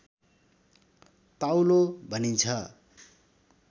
ताउलो भनिन्छ